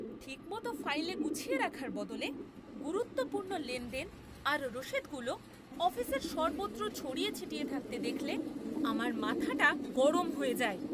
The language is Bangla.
ঠিকমতো ফাইলে গুছিয়ে রাখার বদলে গুরুত্বপূর্ণ লেনদেন আর রসিদগুলো অফিসের সর্বত্র ছড়িয়ে ছিটিয়ে থাকতে দেখলে আমার মাথাটা গরম হয়ে যায়।